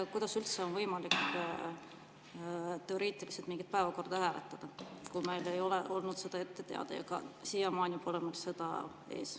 Kuidas üldse on teoreetiliselt võimalik mingit päevakorda hääletada, kui see ei ole meile olnud ette teada ja siiamaani pole mul seda ees?